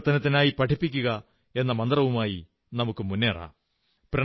പരിവർത്തനത്തിനായി പഠിപ്പിക്കുക എന്ന മന്ത്രവുമായി മുന്നേറാം